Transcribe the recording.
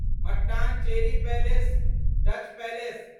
Mattancherry palace Dutch palace